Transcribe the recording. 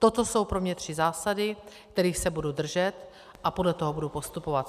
Toto jsou pro mě tři zásady, kterých se budu držet, a podle toho budu postupovat.